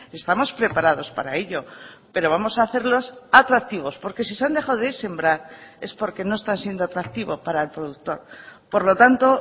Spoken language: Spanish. estamos preparados para ello pero vamos a hacerlos atractivos porque si se han dejado de sembrar es porque no están siendo atractivo para el productor por lo tanto